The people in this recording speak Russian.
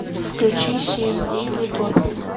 включи семь дней в утопии